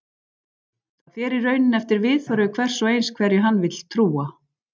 Það fer í rauninni eftir viðhorfi hvers og eins hverju hann vill trúa.